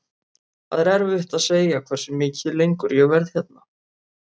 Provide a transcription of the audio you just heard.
Það er erfitt að segja hversu mikið lengur ég verð hérna.